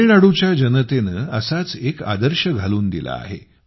तामिळनाडूच्या जनतेने असाच एक आदर्श घालून दिला आहे